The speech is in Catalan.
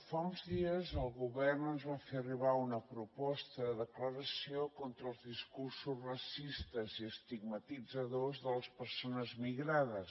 fa uns dies el govern ens va fer arribar una proposta de declaració contra els discursos racistes i estigmatitzadors de les persones migrades